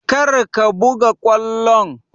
Kar ka buga ƙwallon!